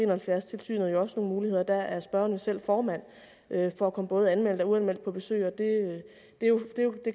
og halvfjerds tilsynet også nogle muligheder og der er spørgeren jo selv formand for at komme både anmeldt og uanmeldt på besøg